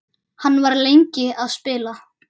Hann var lengi að spila.